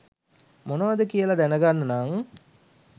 මොනවද කියලා දැනගන්න නම්